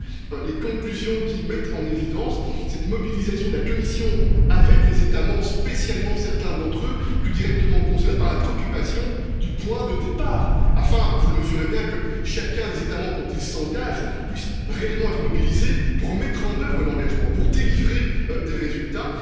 D'où les conclusions qui mettent en évidence cette mobilisation de la Commission avec les États membres, spécialement certains d'entre eux, plus directement concernés par la préoccupation du point de départ. Le but, vous le mesurez bien, c'est que chacun des États membres, quand il s'engage, puisse réellement être mobilisé pour mettre en œuvre l'engagement, pour produire des résultats.